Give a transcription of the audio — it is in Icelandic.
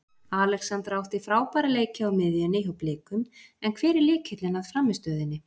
Alexandra átti frábæra leiki á miðjunni hjá Blikum en hver er lykillinn að frammistöðunni?